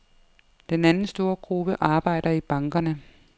Den anden store gruppe arbejder i bankerne.